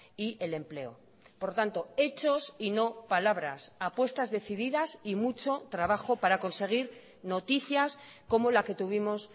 y el empleo por tanto hechos y no palabras apuestas decididas y mucho trabajo para conseguir noticias como la que tuvimos